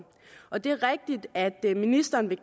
og det er rigtigt at ministeren vil